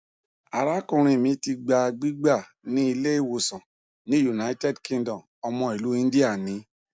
arakunrin mi ti gba gbigba ni ileiwosan ni united kingdom ọmọ ilu india ni